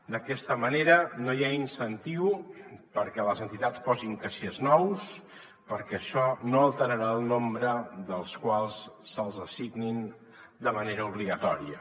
d’aquesta manera no hi ha incentiu perquè les entitats posin caixers nous perquè això no alterarà el nombre dels que se’ls assignin de manera obligatòria